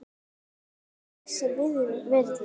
Alltaf þess virði.